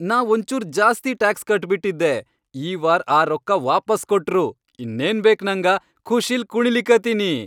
ನಾ ಒಂಚೂರ್ ಜಾಸ್ತಿ ಟ್ಯಾಕ್ಸ್ ಕಟ್ಬಿಟ್ಟಿದ್ದೆ, ಈ ವಾರ್ ಆ ರೊಕ್ಕಾ ವಾಪಾಸ್ ಕೊಟ್ರು, ಇನ್ನೇನ್ ಬೇಕ್ ನಂಗ ಖುಷೀಲ್ ಕುಣಿಲಿಕತ್ತೀನಿ.